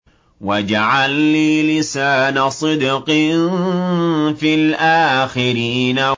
وَاجْعَل لِّي لِسَانَ صِدْقٍ فِي الْآخِرِينَ